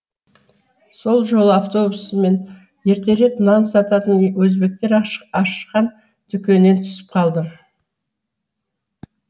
сол жолы автобусымнан ертерек нан сататын өзбектер ашқан дүкеннен түсіп қалдым